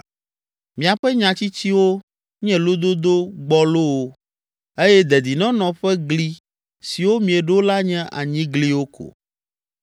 Miaƒe nya tsitsiwo nye lododo gbɔlowo eye dedinɔnɔ ƒe gli siwo mieɖo la nye anyigliwo ko.